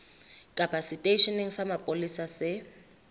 kapa seteisheneng sa mapolesa se